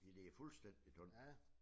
Ja det fuldstændig tombe